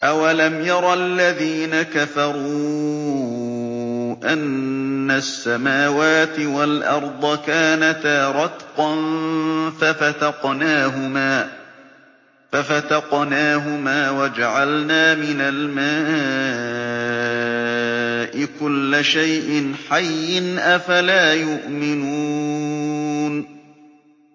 أَوَلَمْ يَرَ الَّذِينَ كَفَرُوا أَنَّ السَّمَاوَاتِ وَالْأَرْضَ كَانَتَا رَتْقًا فَفَتَقْنَاهُمَا ۖ وَجَعَلْنَا مِنَ الْمَاءِ كُلَّ شَيْءٍ حَيٍّ ۖ أَفَلَا يُؤْمِنُونَ